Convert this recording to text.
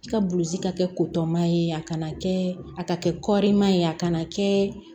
I ka bulzi ka kɛ ye a kana kɛ a ka kɛ kɔɔrima ye a kana kɛ